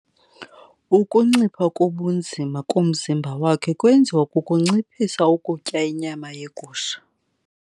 Ukuncipha kobunzima komzimba wakhe kwenziwa kukunciphisa ukutya inyama yegusha.